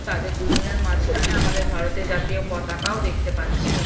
তাদের দুজনের মাঝখানে আমাদের ভারতের জাতীয় পতাকা ও দেখতে পাচ্ছি।